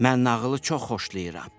Mən nağılı çox xoşlayıram.